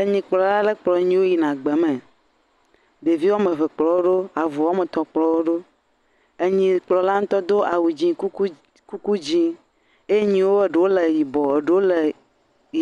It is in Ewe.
Enyilkplɔla aɖe kplɔ enyiwo yina gbeme. Ɖevi woame eve kplɔ woɖo. Avu woame eve kplɔ woɖo. Enyikplɔla ŋutɔ do awu dzɛ, kuku dzɛ. Enyia ɖewo le yibɔ, ɖewo le